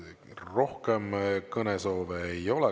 Rohkem kõnesoove ei ole.